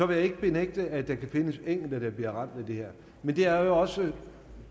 vil jeg ikke benægte at der kan findes enkelte der bliver ramt af det her men det er jo også